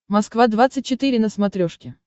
москва двадцать четыре на смотрешке